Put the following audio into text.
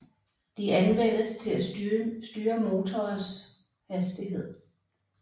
De anvendes til at styre motorers hastighed